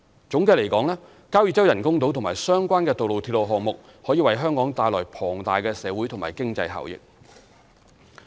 總的來說，交椅洲人工島和相關的道路/鐵路項目可為香港帶來龐大的社會和經濟效益。